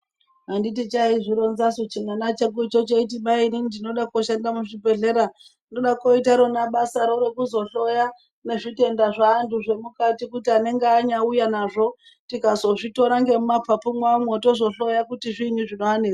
Anditi chaizvironzasu chimwana choti mai inini ndinoda koshanda muzvibhedhleya ndoda koita rona basaro rokuzohloya nezvitenda zveantu zvemukati kuti anenge anyauya nazvo tikazozvitora ngemumapapu mwawomwo tozohloya kuti zviinyi zvinovanetsa.